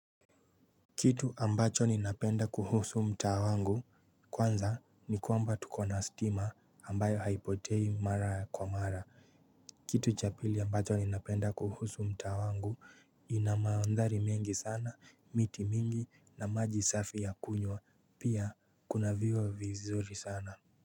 Kitu ambacho ninapenda kuhusu mtaa wangu kwanza ni kwamba tukona stima ambayo haipotei mara kwa mara kitu cha pili ambacho ninapenda kuhusu mtaa wangu ina mondhari mengi sana, miti mingi na maji safi ya kunywa pia kuna viwa vizuri sana.